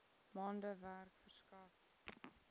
maande werk verskaf